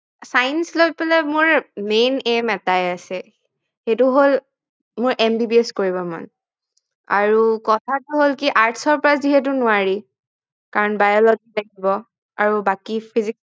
science লৈ ফালে মোৰ main aim এটাই আছে সেইটো হল মোৰ MBBS কৰিব মন আচ্ছা আৰু কথাটো হল কি arts ৰ পৰা যিহেতু নোৱাৰি কাৰন biology লাগিব আৰু বাকি physics